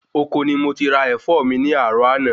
Ọkọ ni mo ti ra Ẹ̀fọ́ mi ni àárò àná